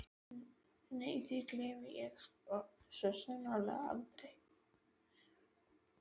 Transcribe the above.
Nei því gleymi ég svo sannarlega aldrei.